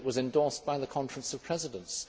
It was endorsed by the Conference of Presidents.